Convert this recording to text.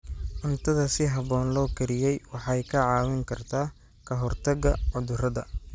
Cuntada si habboon loo kariyey waxay kaa caawin kartaa ka hortagga cudurrada.